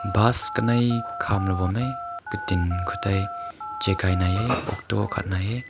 bus kanei kam na loi bam hae katin kao ta chaking hai he auto akhat nai he.